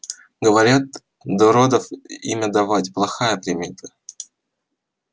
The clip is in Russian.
говорят до родов имя давать плохая примета